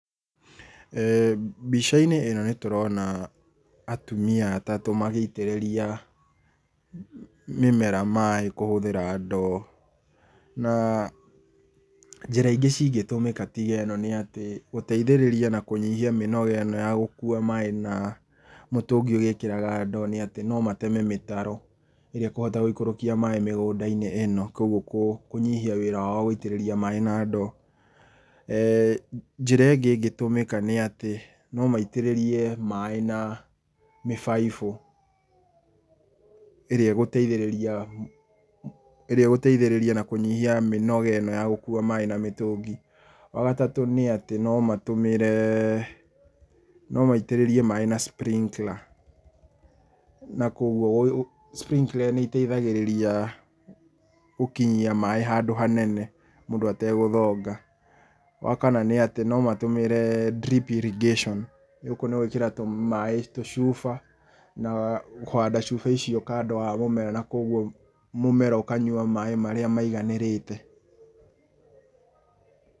Mbica-inĩ ĩno nĩ tũrona atumia atatũ magĩitĩrĩria mĩmera maĩ kũhũthĩra ndoo. Na njĩra ingĩ ingĩtũmĩka tĩga nĩ ĩno nĩ gũteithĩrĩria na kũnyihia mĩnoga ĩno ya gũkũa maĩ na mũtũngi ũgĩkĩraga ndo nĩ atĩ no mateme mĩtaro ĩrĩa ĩkohota gũikorokia maĩ mĩgũnda-inĩ ĩno kwoguo kũnyihia wĩra wao wa gũitĩrĩria maĩ na ndoo njĩra ĩngĩ ĩngĩtũmĩka nĩ atĩ no maitĩrĩrie maĩ na mĩbaibũ, ĩrĩa ĩgũteithĩrĩria na kũnyihia mĩnoga ĩno ya gũkua maĩ na mĩtũngi. Wagatatũ nĩ atĩ no matũmĩre, no maitĩrĩrie maĩ na sprinkler na kwoguo sprinkler nĩ iteithagĩrĩria gũkinyia maĩ handũ hanene mũndũ ategũthonga. Wakana nĩ atĩ no matũmĩre drip irrigation, gũkũ nĩ gwĩkĩra maĩ tũcuba na kũhanda cuba icio kando wa mũmera na kwoguo mũmera ũkanyua maĩ marĩa maiganĩrĩte.